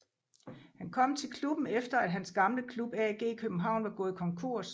Han kom til klubben efter at hans gamle klub AG København var gået konkurs